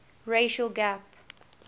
racial gap